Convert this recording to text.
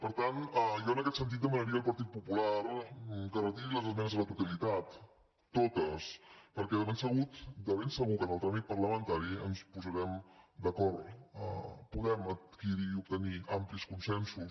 per tant jo en aquest sentit demanaria al partit popular que retiri les esmenes a la totalitat totes perquè de ben segur que en el tràmit parlamentari ens posarem d’acord podem adquirir i obtenir amplis consensos